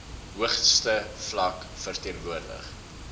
hoogste vlak verteenwoordig